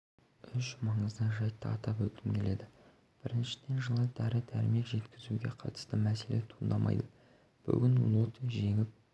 үш маңызды жайтты атап өткім келеді біріншіден жылы дәрі-дәрмек жеткізуге қатысты мәселе туындамйды бүгін лот жеңіп